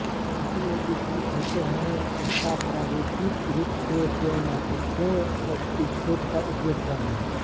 क्योंकि ये विस्तृत होते हैं स्टाफ प्रारूपिक रूप से केवल महत्वपूर्ण उपसेट का उपयोग करेंगे